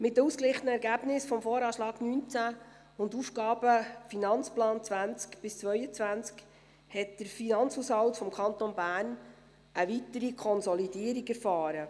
Mit den ausgeglichenen Ergebnissen des VA 2019 und des AFP 2020–2022 hat der Finanzhaushalt des Kantons Bern eine weitere Konsolidierung erfahren.